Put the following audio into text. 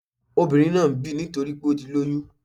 Obìnrin náà ń bì nítorípé ó ti lóyún